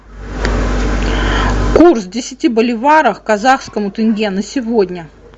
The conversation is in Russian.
курс десяти боливаров к казахскому тенге на сегодня